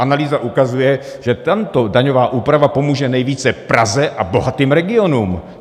Analýza ukazuje, že tato daňová úprava pomůže nejvíce Praze a bohatým regionům.